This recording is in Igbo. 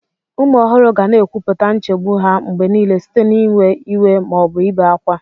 Ụmụ ohuru ga na-ekwupụta nchegbu ha mgbe niile site n'iwe iwe ma ọ bụ ibe ákwá.